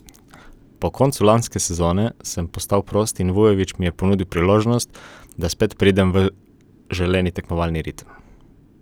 Po koncu lanske sezone sem postal prost in Vujović mi je ponudil priložnost, da spet pridem v želeni tekmovalni ritem.